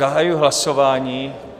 Zahajuji hlasování.